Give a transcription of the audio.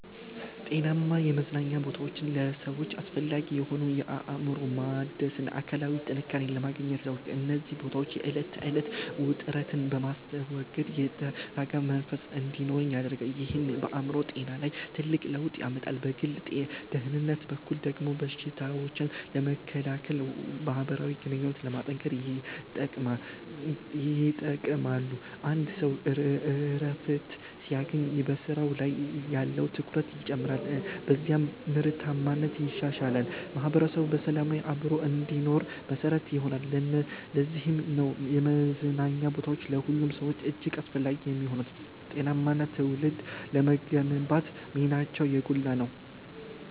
ጤናማ የመዝናኛ ቦታዎች ለሰዎች አስፈላጊ የሆኑት፣ አእምሮን ለማደስና አካላዊ ጥንካሬን ለማግኘት ነው። እነዚህ ቦታዎች የዕለት ተዕለት ውጥረትን በማስወገድ የተረጋጋ መንፈስ እንዲኖረን ይረዳሉ፤ ይህም በአእምሮ ጤና ላይ ትልቅ ለውጥ ያመጣል። በግል ደህንነት በኩል ደግሞ በሽታዎችን ለመከላከልና ማህበራዊ ግንኙነትን ለማጠናከር ይጠቅማሉ። አንድ ሰው እረፍት ሲያገኝ በስራው ላይ ያለው ትኩረት ይጨምራል፤ በዚህም ምርታማነት ይሻሻላል። ማህበረሰቡም በሰላም አብሮ እንዲኖር መሰረት ይሆናሉ። ለዚህም ነው የመዝናኛ ቦታዎች ለሁሉም ሰው እጅግ አስፈላጊ የሚሆኑት፤ ጤናማ ትውልድ ለመገንባትም ሚናቸው የጎላ ነው።